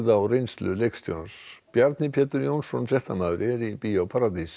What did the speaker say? á reynslu leikstjórans Bjarni Pétur Jónsson fréttamaður er í Bíó paradís